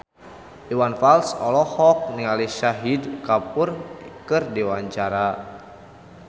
Iwan Fals olohok ningali Shahid Kapoor keur diwawancara